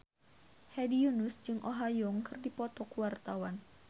Hedi Yunus jeung Oh Ha Young keur dipoto ku wartawan